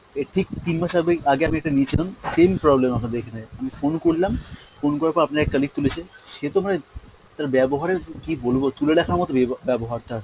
এর ঠিক তিন মাস আগেই আগে আমি একটা নিয়েছিলাম same problem আপনাদের এখানে, আমি phone করলাম phone করার পর আপনার এক colleague তুলেছে, সে তো মানে তার ব্যবহারের কী বলবো, তুলে রাখার মতো বিবো ব্যবহার তার।